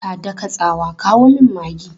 Ta daka tsawa, 'kawo min maggi!'